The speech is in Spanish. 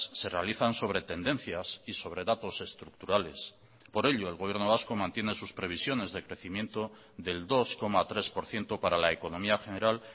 se realizan sobre tendencias y sobre datos estructurales por ello el gobierno vasco mantiene sus previsiones de crecimiento del dos coma tres por ciento para la economía general